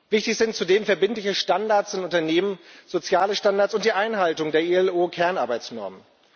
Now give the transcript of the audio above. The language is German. Wichtig sind zudem verbindliche Standards in Unternehmen soziale Standards und die Einhaltung der IAO Kernarbeitsnormen.